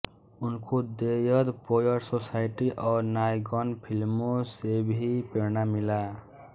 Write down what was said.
उनको dead poet society और नायगन फिल्मों से भी प्रेरणा मिला